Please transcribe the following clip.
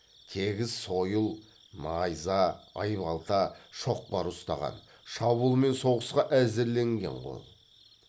тегіс сойыл найза айбалта шоқпар ұстаған шабуыл мен соғысқа әзірленген қол